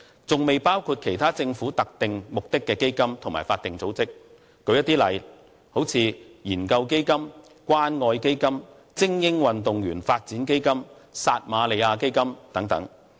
這還未包括其他政府特定目的基金和法定組織，例如研究基金、關愛基金、精英運動員發展基金和撒瑪利亞基金等。